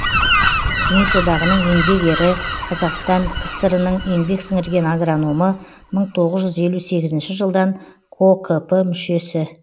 кеңес одағының еңбек ері қазақстан кср нің еңбек сіңірген агрономы мың тоғыз жүз елу сегізінші жылдан кокп мүшесі